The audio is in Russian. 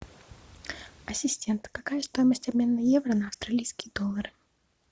ассистент какая стоимость обмена евро на австралийские доллары